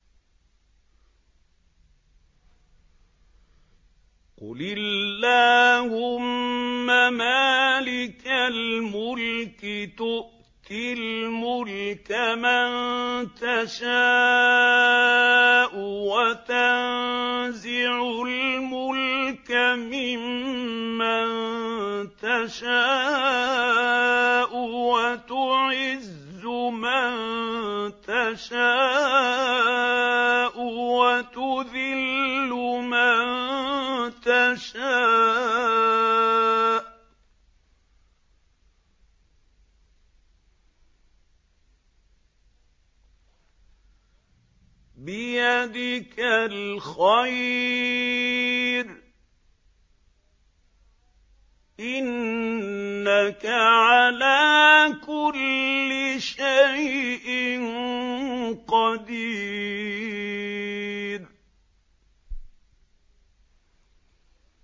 قُلِ اللَّهُمَّ مَالِكَ الْمُلْكِ تُؤْتِي الْمُلْكَ مَن تَشَاءُ وَتَنزِعُ الْمُلْكَ مِمَّن تَشَاءُ وَتُعِزُّ مَن تَشَاءُ وَتُذِلُّ مَن تَشَاءُ ۖ بِيَدِكَ الْخَيْرُ ۖ إِنَّكَ عَلَىٰ كُلِّ شَيْءٍ قَدِيرٌ